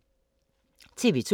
TV 2